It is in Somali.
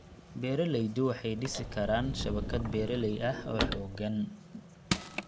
Beeraleydu waxay dhisi karaan shabakad beeraley ah oo xooggan.